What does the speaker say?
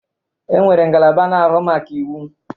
E nwere ngalaba na-ahụ maka iwụ.